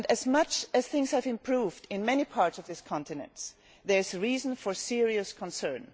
Much as things have improved in many parts of this continent, there is reason for serious concern.